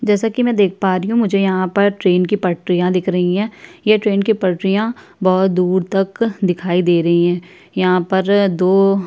जैसा कि मैं देख पा रहीं हूँ मुझे यहाँ पर ट्रेन की पटरियां दिख रहीं है ये ट्रेन की पटरियां बहुत दूर तक दिखाई दे रहीं है यहाँ पर दो --